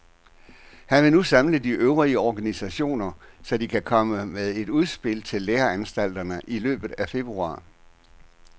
Han vil nu samle de øvrige organisationer, så de kan komme med et udspil til læreanstalterne i løbet af februar.